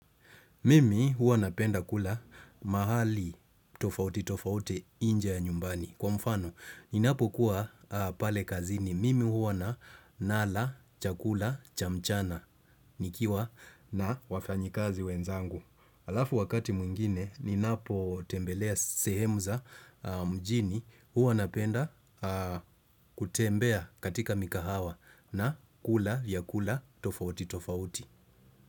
Mimi huwa napenda kula mahali tofautitofauti nje ya nyumbani. Kwa mfano, ninapo kuwa pale kazini. Mimi huwa nala, chakula, cha mchana, nikiwa na wafanyikazi wenzangu. Halafu wakati mwingine, ninapotembelea sehemu za mjini huwa napenda kutembea katika mikahawa na kula vyakula tofautitofauti.